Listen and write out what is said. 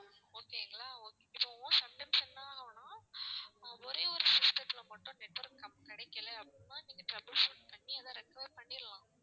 okay ங்களா இப்போ sometimes என்ன ஆகும்னா ஒரே ஒரு system த்துல மட்டும் network நமக்கு கிடைக்கலை அப்படின்னா நீங்க trouble shoot பண்ணி அதை recover பண்ணிடலாம்.